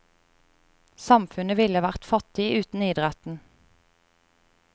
Samfunnet ville vært fattig uten idretten.